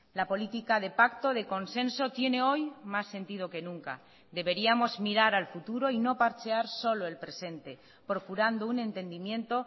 la política de pacto de consenso tiene hoy más sentido que nunca deberíamos mirar al futuro y no parchear solo el presente procurando un entendimiento